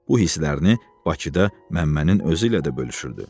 Bu hisslərini Bakıda Məmmənin özü ilə də bölüşürdü.